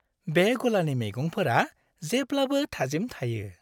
बे गलानि मैगंफोरा जेब्लाबो थाजिम थायो।